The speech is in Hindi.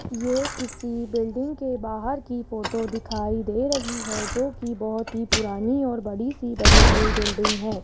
ये किसी बिल्डिंग के बाहर की फोटो दिखाई दे रही है जोकि बहोत ही पुरानी और बड़ी सी बनी हुई बिल्डिंग है।